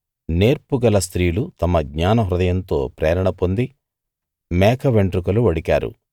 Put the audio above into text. నేర్పు గల స్త్రీలు తమ జ్ఞానహృదయంతో ప్రేరణ పొంది మేక వెంట్రుకలు వడికారు